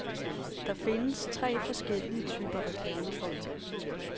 Der findes tre forskellige typer reklamefolk.